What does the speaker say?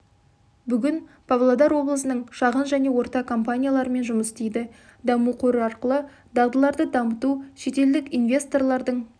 бүгін павлодар облысының шағын және орта компанияларымен жұмыс істейді даму қоры арқылы дағдыларды дамыту шетелдік инвесторлардың